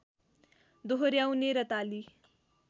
दोहोर्‍याउने र ताली